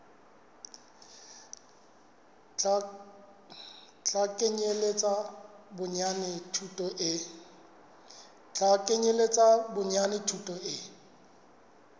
tla kenyeletsa bonyane thuto e